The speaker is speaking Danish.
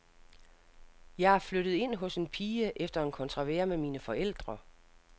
Jeg flyttede ind hos en pige efter en kontrovers med mine forældre.